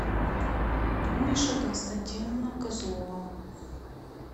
тумиша константиновна козлова